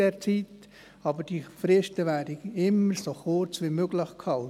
Aber die Fristen würden immer so kurz wie möglich gehalten.